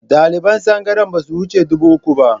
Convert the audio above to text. Ɗaliban tsangayar ba su wuce dubu uku ba